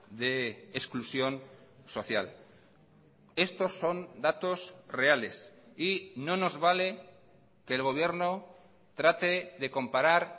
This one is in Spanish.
de exclusión social estos son datos reales y no nos vale que el gobierno trate de comparar